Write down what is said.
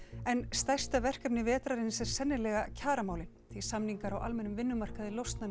en stærsta verkefni vetrarins er sennilega kjaramálin því samningar á almennum vinnumarkaði losna